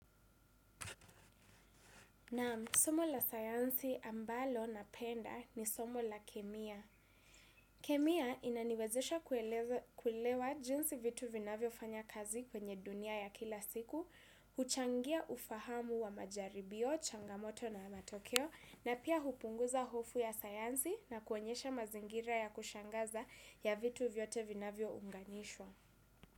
Naam, somo la sayansi ambalo napenda ni somo la kemia. Kemia inaniwezesha kuelewa jinsi vitu vinavyofanya kazi kwenye dunia ya kila siku, huchangia ufahamu wa majaribio, changamoto na matokeo, na pia hupunguza hofu ya sayansi na kuonyesha mazingira ya kushangaza ya vitu vyote vinavyounganishwa.